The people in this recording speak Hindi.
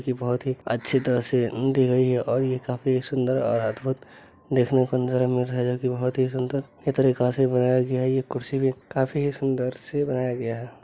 ये बोहोत ही अच्छी तरह से म्म दी गई है और ये काफी सुन्दर और अद्भुत देखने को नजारा मिल रहा है जोकि बोहोत ही सुन्दर ये तरीका से बनाया गया है। ये कुर्सी भी काफी सुन्दर से बनाया गया है।